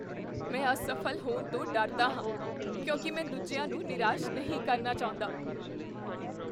ਮੈਂ ਅਸਫ਼ਲ ਹੋਣ ਤੋਂ ਡਰਦਾ ਹਾਂ ਕਿਉਂਕਿ ਮੈਂ ਦੂਜਿਆਂ ਨੂੰ ਨਿਰਾਸ਼ ਨਹੀਂ ਕਰਨਾ ਚਾਹੁੰਦਾ।